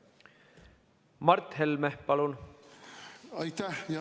Mart Helme, palun!